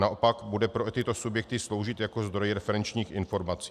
Naopak bude pro tyto subjekty sloužit jako zdroj referenčních informací.